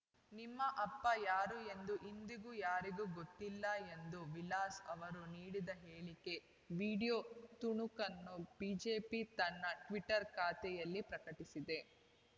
ನಿಮ್ಮ ಅಪ್ಪ ಯಾರು ಎಂದೂ ಇಂದಿಗೂ ಯಾರಿಗೂ ಗೊತ್ತಿಲ್ಲ ಎಂದು ವಿಲಾಸ್‌ ಅವರು ನೀಡಿದ ಹೇಳಿಕೆ ವಿಡಿಯೋ ತುಣುಕನ್ನು ಬಿಜೆಪಿ ತನ್ನ ಟ್ವೀಟರ್‌ ಖಾತೆಯಲ್ಲಿ ಪ್ರಕಟಿಸಿದೆ